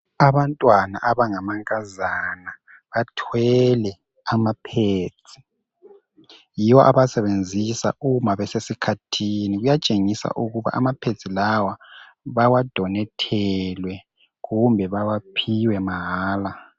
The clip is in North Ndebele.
Abantwana abangamankazana bathwele ama ped yiwo abawasebenzisa uma besesikhathini kuyatshengisa ukuba ama peds lawa bawadonethelwe kumbe bawaphiwe mahala.